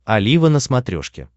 олива на смотрешке